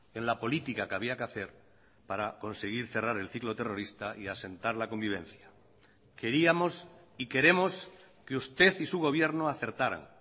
en la política que había que hacer para conseguir cerrar el ciclo terrorista y asentar la convivencia queríamos y queremos que usted y su gobierno acertaran